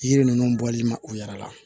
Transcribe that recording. Yiri ninnu bɔli mɛn u yɛrɛ la